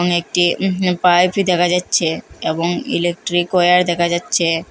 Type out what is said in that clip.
এখানে একটি য়ুহু পাইপি দেখা যাচ্ছে এবং ইলেকট্রিক অয়ার দেখা যাচ্ছে।